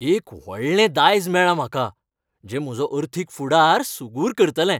एक व्हडलें दायज मेळ्ळां म्हाका जें म्हजो अर्थीक फुडार सुगूर करतलें.